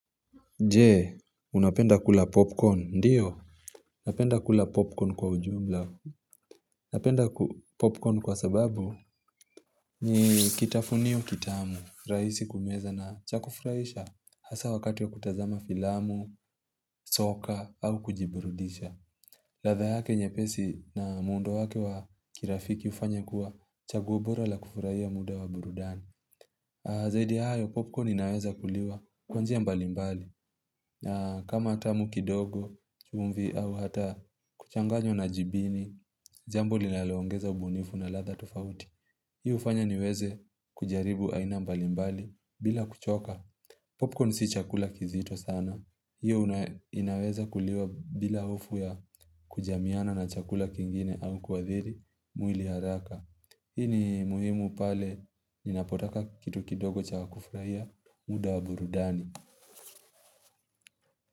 Je, unapenda kula popcorn? Ndio napenda kula popcorn kwa ujumla napenda popcorn kwa sababu ni kitafunio kitamu, rahisi kumeza na cha kufurahisha hasa wakati wa kutazama filamu soka au kujiburudisha. Ladha yake nyepesi na muundo wake wa kirafiki hufanya kuwa chaguo bora la kufurahia muda wa burudani Zaidi ya hayo popcorn inaweza kuliwa kwa njia mbalimbali. Kama tamu kidogo, chumvi au hata kuchanganywa na jibini, jambo linaloongeza ubunifu na ladha tofauti. Hiyo hufanya niweze kujaribu aina mbalimbali bila kuchoka. Popcorn si chakula kizito sana. Hiyo inaweza kuliwa bila hofu ya kujamiana na chakula kingine au kuadhiri mwili haraka. Hii ni muhimu pale ninapotaka kitu kidogo cha kufurahia muda wa burudani.